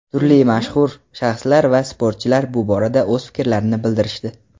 turli mashhur shaxslar va sportchilar bu borada o‘z fikrlarini bildirishdi.